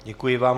Děkuji vám.